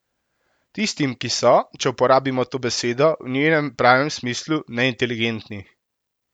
Tistim, ki so, če uporabimo to besedo v njenem pravem smislu, neinteligentni.